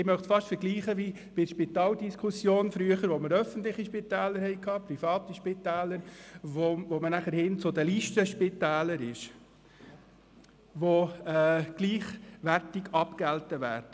Ich möchte dies fast mit der früheren Spitaldiskussion vergleichen, als wir öffentliche Spitäler und private Spitäler hatten und man nachher zu den Listenspitälern überging, die gleichwertig abgegolten werden.